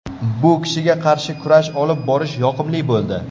Bu kishiga qarshi kurash olib borish yoqimli bo‘ldi.